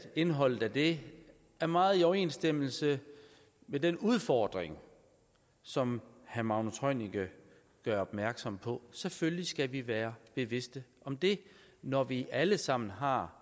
indholdet af det er meget i overensstemmelse med den udfordring som herre magnus heunicke gør opmærksom på selvfølgelig skal vi være bevidste om det når vi alle sammen har